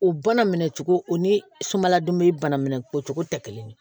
O bana minɛ cogo o ni sumaladoni bana minɛ o cogo tɛ kelen ye